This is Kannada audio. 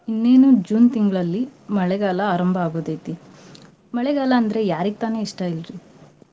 ಇನ್ನೇನು June ತಿಂಗ್ಳಲ್ಲಿ ಮಳೆಗಾಲ ಆರಂಭ ಆಗೋದೈತಿ. ಮಳೆಗಾಲ ಅಂದ್ರೆ ಯಾರಿಗ್ ತಾನೇ ಇಷ್ಟಾ ಇಲ್ರೀ.